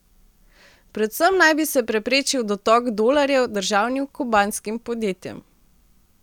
Predvsem naj bi se preprečil dotok dolarjev državnim kubanskim podjetjem.